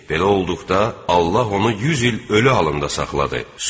Belə olduqda Allah onu 100 il ölü halında saxladı.